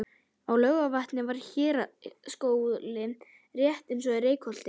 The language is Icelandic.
Á Laugarvatni var héraðsskóli rétt eins og í Reykholti.